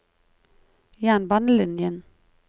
jernbanelinjen